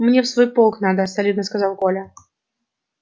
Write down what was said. мне в свой полк надо солидно сказал коля